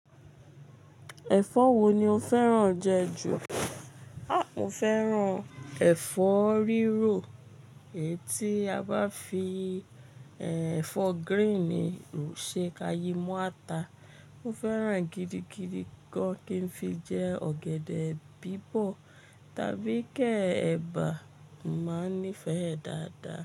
Ẹ̀fọ́ wo ni o fẹ́ràn jẹ jù? Mo fẹ́ràn ẹ̀fọ́ rírò. Èyí tí a bá fi ẹ̀fọ́ green rò ṣe ka yí mọ ata. Mo fẹ́ràn ẹ gidi gidi gan kí n fi jẹ ọ̀gẹ̀dẹ̀ bíbọ̀ tàbí ke èbà, mo màá nífẹ̀ ẹ́ dáadáa.